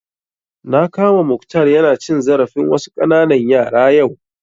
Na kama Mukhtar ya na cin zarafin wasu ƙananan yara yau